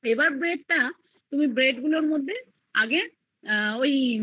এইবার bread তুমি bread গুলোর মধ্যে আগে ঐ